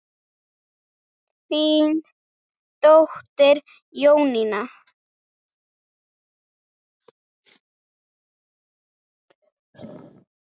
Þín dóttir Jónína.